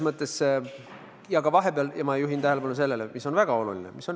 Ma juhin tähelepanu sellele, mis on väga oluline.